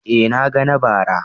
Eh na ga na bara.